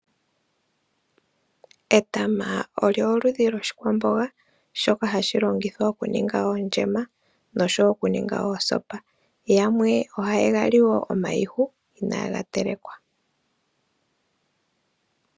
Etama olyo oludhi lwoshikwamboga, shoka hashi longithwa oku ninga ondjema noshowo oku ninga oosopa. Yamwe ohaye ga li wo omayihu inaaga telekwa.